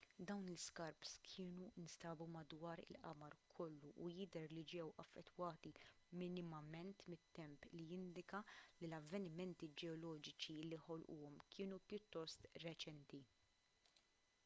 dawn l-iskarps kienu nstabu madwar il-qamar kollu u jidher li ġew affettwati minimament mit-temp li jindika li l-avvenimenti ġeoloġiċi li ħolquhom kienu pjuttost reċenti